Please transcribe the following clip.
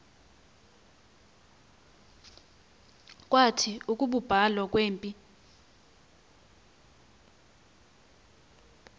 kwathi ukubulawa kwempi